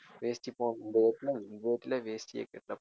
வேஷ்டி